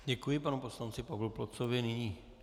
Děkuji panu poslanci Pavlu Plocovi.